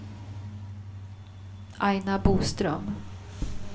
Aina Boström